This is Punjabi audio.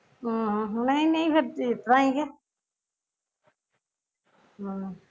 ਆਹੋ ਨਹੀਂ ਨਹੀਂ ਫਿਰ ਇਸ ਤਰਾ ਈ ਕਿ